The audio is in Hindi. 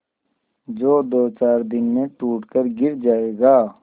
जो दोचार दिन में टूट कर गिर जाएगा